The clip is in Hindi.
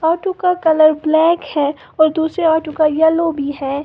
ऑटो का कलर ब्लैक है और दूसरे ऑटो का येलो भी है।